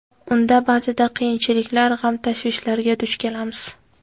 Unda ba’zida qiyinchiliklar, g‘am-tashvishlarga duch kelamiz.